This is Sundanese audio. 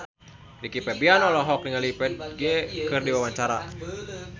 Rizky Febian olohok ningali Ferdge keur diwawancara